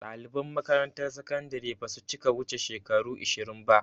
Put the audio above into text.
Ɗaliban makaramtar sakandire basu cika wuce shekaru ishirin ba